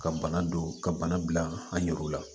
Ka bana don ka bana bila an yɛrɛw la